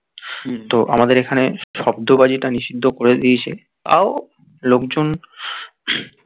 তো আমাদের এখানে শব্দ বাজিটা নিষিদ্ধ করে দিয়েছে তাও লোকজন